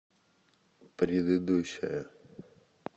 предыдущая